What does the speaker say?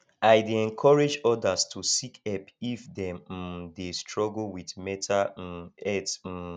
i dey encourage others to seek help if dem um dey struggle with mental um health um